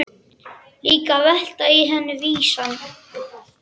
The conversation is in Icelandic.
Líka að veltast í henni vísan.